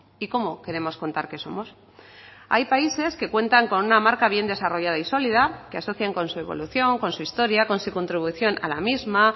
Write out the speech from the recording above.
y cómo queremos contar que somos hay países que cuentan con una marca bien desarrollada y sólida que asocian con su evolución con su historia con su contribución a la misma